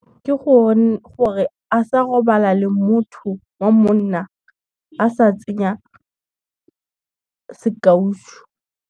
Ke gore a sa robala le motho wa monna a sa tsenya sekaušu.